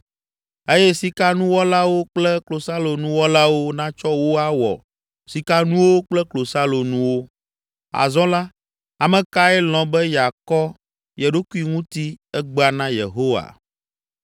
eye sikanuwɔlawo kple klosalonuwɔlawo natsɔ wo awɔ sikanuwo kple klosalonuwo. Azɔ la, ame kae lɔ̃ be yeakɔ ye ɖokui ŋuti egbea na Yehowa?”